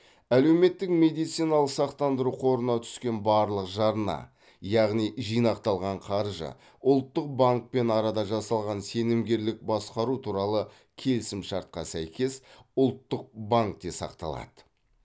әлеуметтік медициналық сақтандыру қорына түскен барлық жарна яғни жинақталған қаржы ұлттық банкпен арада жасалған сенімгерлік басқару туралы келісімшартқа сәйкес ұлттық банкте сақталады